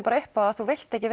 upp á að þú vilt ekki